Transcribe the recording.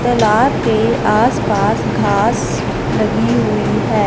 तालाब के आसपास घास लगी हुई है।